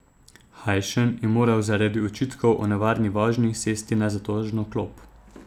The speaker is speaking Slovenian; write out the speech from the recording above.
Hajšen je moral zaradi očitkov o nevarni vožnji sesti na zatožno klop.